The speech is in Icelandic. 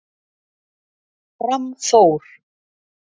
Fram Þór